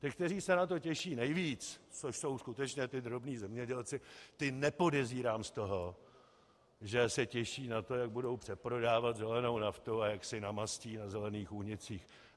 Ti, kteří se na to těší nejvíc, což jsou skutečně ti drobní zemědělci, ty nepodezírám z toho, že se těší na to, jak budou přeprodávat zelenou naftu a jak si namastí na zelených únicích.